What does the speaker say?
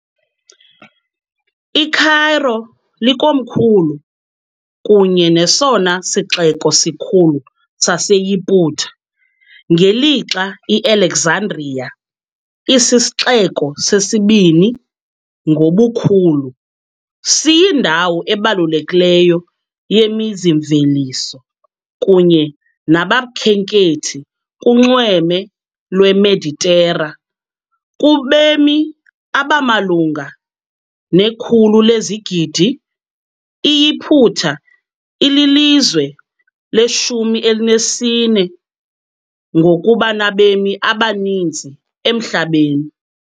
ICairo likomkhulu kunye nesona sixeko sikhulu saseYiputa, ngelixa iAlexandria, isisixeko sesibini ngobukhulu, siyindawo ebalulekileyo yemizi-mveliso kunye nabakhenkethi kunxweme lweMeditera . Kubemi abamalunga ne-100 lezigidi, iYiputa ililizwe le -14 ngokuba nabemi abaninzi emhlabeni .